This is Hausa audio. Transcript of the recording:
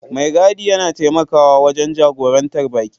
Mai gadi yana taimakawa wajen jagorantar baƙi.